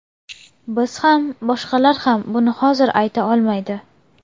Biz ham, boshqalar ham buni hozir ayta olmaydi.